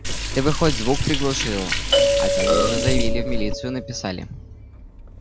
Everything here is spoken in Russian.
ты бы хоть звук приглушил а то они уже заявили в милицию написали